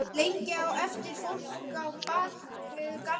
Lengi á eftir fólk á bak við gardínur.